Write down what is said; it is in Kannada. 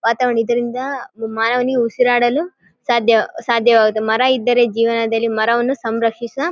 ವಾತಾವರಣ ಇದರಿಂದ ಮಾನವನಿಗೆ ಉಸಿರಾಡಲು ಸಾಧ್ಯ ಸಾಧ್ಯವಾಗುತ್ತೆ. ಮರ ಇದ್ದರೆ ಜೇವನದಲ್ಲಿ ಮರವನ್ನು ಸಂರಕ್ಷಿಸ --